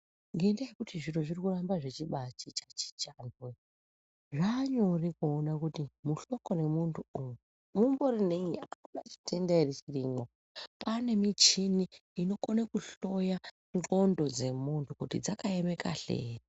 Ngendaa yekuti zviro zviri kuramba zvichibachinja chinja, zvaanyore kuona kuti muhloko remuntu umu mumbori nenyi chitenda ere chirimwo . Kwaa nemichini inokone kuhloya mundxondo dzemuntu kuti dzakaeme kahle here.